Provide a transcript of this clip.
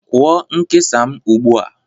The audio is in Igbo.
Kwụọ nkesa m ugbu a